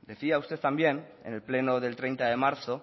decía usted también en el pleno de treinta de marzo